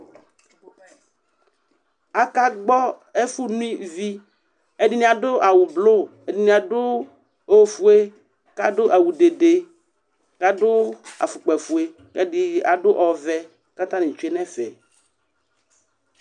Akagbɔ ɛfʋno ivi Ɛdɩnɩ adʋ awʋblo, ɛdɩnɩ adʋ ofue kʋ adʋ awʋ dede kʋ adʋ afʋkpafue kʋ ɛdɩ adʋ ɔvɛ kʋ atanɩ tsue nʋ ɛfɛ